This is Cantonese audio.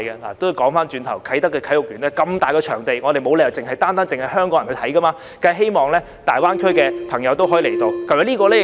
話說回頭，啟德體育園的場地那麼大，沒理由單單是香港人去觀賽的，我們當然希望大灣區的朋友都可以到來。